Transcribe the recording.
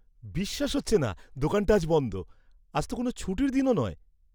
বিশ্বাস হচ্ছে না দোকানটা আজ বন্ধ! আজ তো কোনো ছুটির দিনও নয়।